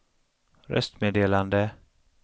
röstmeddelande